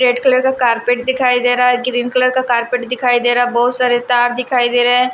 Red colour का carpet दिखाई दे रहा है ग्रीन कलर का कार्पेट दिखाई दे रहा है बहुत सारे तार दिखाई दे रहे हैं।